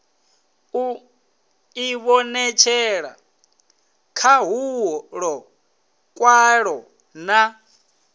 u ivhonetshela khahulo kwayo na